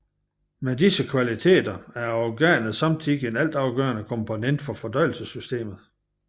Med disse kvaliteter er organet samtidig en altafgørende komponent for fordøjelsessystemet